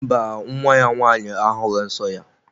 Mba, nwa ya nwaanyị ahughi nsọ ya.